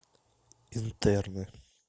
интерны